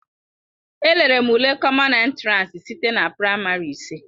Elere m ule kọmọn entiransi site na praịmarị ise.